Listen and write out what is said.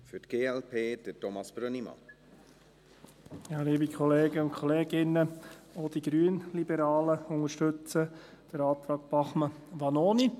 Auch die Grünliberalen unterstützen den Antrag Bachmann/Vanoni.